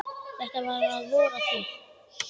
Þetta var að vori til.